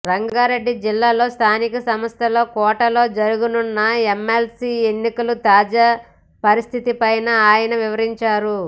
రంగారెడ్డి జిల్లాలో స్థానిక సంస్థల కోటాలో జరగనున్న ఎమ్మెల్సీ ఎన్నికల తాజా పరిస్థితి పైన ఆయన వివరించారు